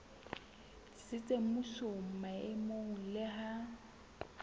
tsitsitseng mmusong maemong le ha